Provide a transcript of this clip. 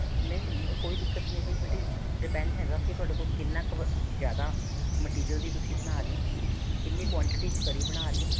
ਨਹੀਂ ਨਹੀਂ ਉਹ ਕੋਈ ਦਿੱਕਤ ਨਹੀ ਹੈਗੀ ਬੇਟੇ depend ਹੈਗਾ ਕੇ ਤੁਹਾਡੇ ਕੋਲ ਕਿੰਨਾ ਜਿਆਦਾ material ਦੀ ਤੁਸੀਂ ਬਣਾ ਰਿਹੇ ਹੋ ਕਿੰਨੀ quantity ਵਿੱਚ ਕੜੀ ਬਣਾ ਰਿਹੇ ਹੋ